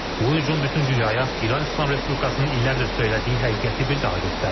Bu hücum bütün dünyaya İran İslam Respublikasının illərdir söylədiyi həqiqəti bir daha göstərdi.